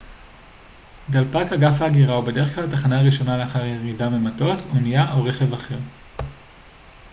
דלפק אגף ההגירה הוא בדרך כלל התחנה הראשונה לאחר ירידה ממטוס אונייה או רכב אחר